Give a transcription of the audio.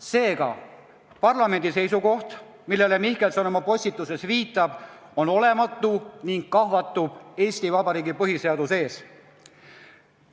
Seega parlamendi seisukoht, millele Mihkelson oma postituses viitab, on olematu ning kahvatub Eesti Vabariigi põhiseaduse ees.